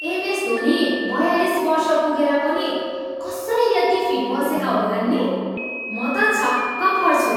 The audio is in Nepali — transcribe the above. एमएस धोनी बयालिस वर्ष पुगेर पनि कसरी यति फिट बसेका होलान् नि! म त छक्क पर्छु।